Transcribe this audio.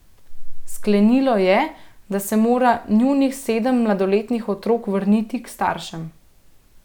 Sklenilo je, da se mora njunih sedem mladoletnih otrok vrniti k staršem.